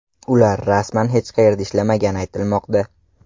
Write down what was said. Ular rasman hech qayerda ishlamagani aytilmoqda.